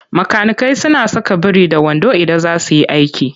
Makanikai suna saka biri-da-wando idan za su yi aiki.